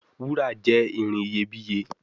Wúrà jé ìrìn iyebiye.